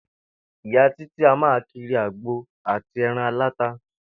Ìyá Títí a máa kiri àgbo àti e̩ran aláta